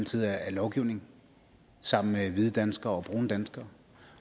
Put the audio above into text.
side af lovgivningen sammen med hvide danskere og brune danskere